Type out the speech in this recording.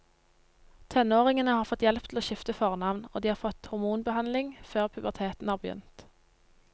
Tenåringene har fått hjelp til å skifte fornavn, og de har fått hormonbehandling før puberteten har begynt.